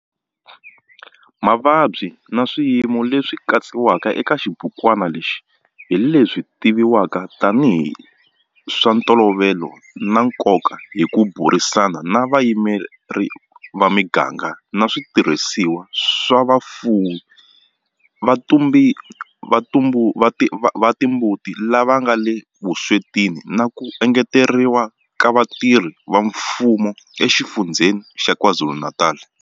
Mavabyi na swiyimo leswi katsiwaka eka xibukwana lexi hi leswi tivivwaka tanihi hi swa ntolovelo na nkoka hi ku burisana na vayimeri va miganga na switirhisiwa swa vafuwi va timbuti lava nga le vuswetini na ku engeteriwa ka vatirhi va mfumo eXifundzheni xa KwaZulu-Natal.